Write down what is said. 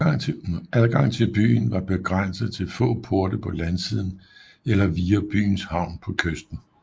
Adgang til byen var begrænset til få porte på landsiden eller via byens havn på kysten